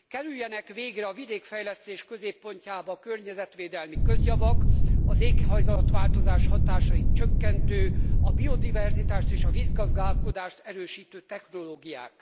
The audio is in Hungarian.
Kerüljenek végre a vidékfejlesztés középpontjába a környezetvédelmi közjavak, az éghajlatváltozás hatásait csökkentő, a biodiverzitást és a vízgazdálkodást erősítő technológiák!